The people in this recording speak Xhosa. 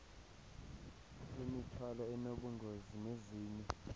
imithwalo enobungozi nezinye